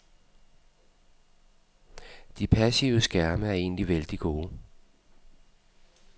De passive skærme er egentlig vældig gode.